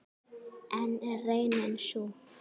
En er raunin sú?